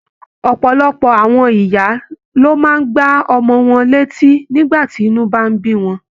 Ọpọlọpọ àwọn ìyá ló máa n gbà ọmọ wọn létí nígbà tí inú bá n bí wọn.